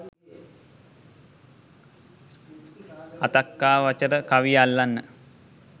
අථක්ඛාවචර කවිය අල්ලන්න